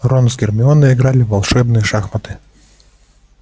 рон с гермионой играли в волшебные шахматы